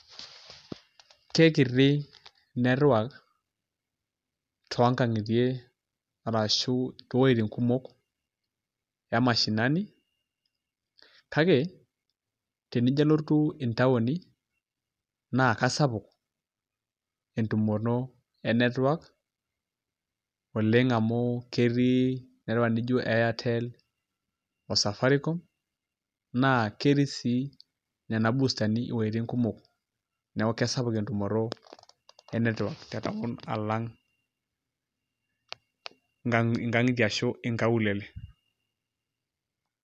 Keikiti network too nkang'itie arashu to wejitin kumok ee mashinani kake tenijo alotu intaoni naa kasapuk entumoto ee network oleng' amuu ketii network naijo airtel, oo safaricom naa ketii sii nena bustani iweitin kumok neeku kisapuk entumoto e e network tee town alang' nkang'itie ashu inkaulele.